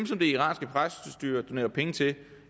som det iranske præstestyre donerer penge til